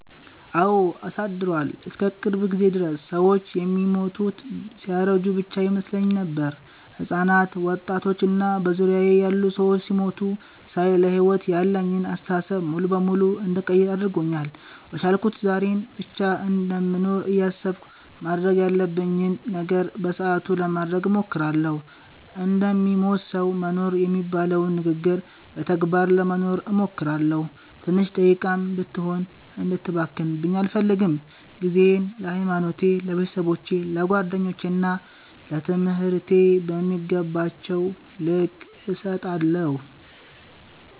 አወ አሳድሯል። እስከ ቅርብ ጊዜ ድረስ ሰወች የሚሞቱት ሲያረጁ ብቻ ይመስለኝ ነበር። ህጻናት፣ ወጣቶች እና በዙሪያየ ያሉ ሰዎች ሲሞቱ ሳይ ለሕይወት ያለኝን አስተሳሰብ ሙሉ በሙሉ እንድቀይር አድርጎኛል። በቻልኩት ዛሬን ብቻ እንደምኖር እያሰብኩ ማድረግ ያለብኝን ነገር በሰአቱ ለማድረግ እሞክራለሁ። እንደሚሞት ሰዉ መኖር የሚባለውን ንግግር በተግባር ለመኖር እሞክራለሁ። ትንሽ ደቂቃም ብትሆን እንድትባክንብኝ አልፈልግም። ጊዜየን ለሀይማኖቴ፣ ለቤተሰቦቼ፣ ለጓደኞቼ እና ለትምህርቴ በሚገባቸዉ ልክ እሰጣለሁ።